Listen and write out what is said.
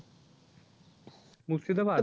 Murshidabad?